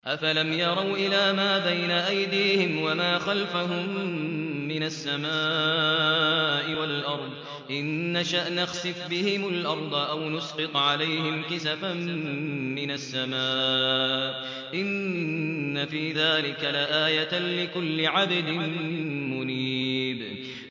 أَفَلَمْ يَرَوْا إِلَىٰ مَا بَيْنَ أَيْدِيهِمْ وَمَا خَلْفَهُم مِّنَ السَّمَاءِ وَالْأَرْضِ ۚ إِن نَّشَأْ نَخْسِفْ بِهِمُ الْأَرْضَ أَوْ نُسْقِطْ عَلَيْهِمْ كِسَفًا مِّنَ السَّمَاءِ ۚ إِنَّ فِي ذَٰلِكَ لَآيَةً لِّكُلِّ عَبْدٍ مُّنِيبٍ